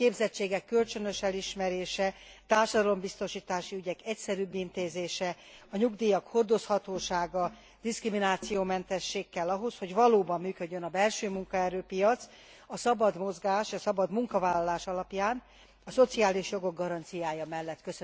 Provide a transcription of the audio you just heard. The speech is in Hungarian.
A képzések kölcsönös elismerése, társadalombiztosítási ügyek egyszerűbb intézése, a nyugdíjak hordozhatósága, diszkriminációmentesség kell ahhoz, hogy valóban működjön a belső munkaerőpiac, a szabad mozgás, a szabad munkavállalás alapján a szociális jogok garanciája mellett.